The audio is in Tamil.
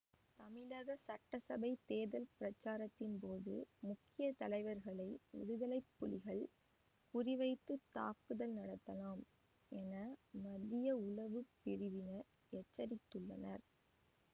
தமிழக சட்டசபை தேர்தல் பிரச்சாரத்தின்போது முக்கிய தலைவர்களை விடுதலை புலிகள் குறி வைத்து தாக்குதல் நடத்தலாம் என மத்திய உளவு பிரிவினர் எச்சரித்துள்ளனர்